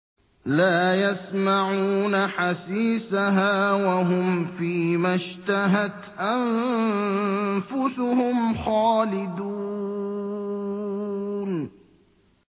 لَا يَسْمَعُونَ حَسِيسَهَا ۖ وَهُمْ فِي مَا اشْتَهَتْ أَنفُسُهُمْ خَالِدُونَ